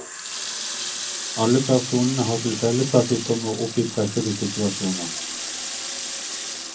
Alle personene har til felles at de kommer opp i pressede situasjoner.